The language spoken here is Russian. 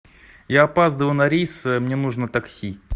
я опаздываю на рейс мне нужно такси